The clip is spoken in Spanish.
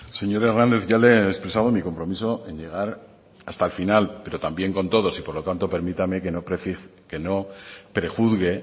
señor hernández ya le he expresado mi compromiso en llegar hasta el final pero también con todos y por lo tanto permítame que no prejuzgue